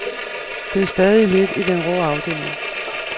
Det er stadig lidt i den rå afdeling.